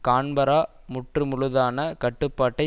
Canberra முற்று முழுதான கட்டுப்பாட்டை